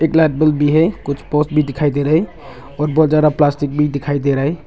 Blackboard भी है कुछ पोस्ट भी दिखाई दे रहा है और बहोत ज्यादा प्लास्टिक भी दिखाई दे रहा है।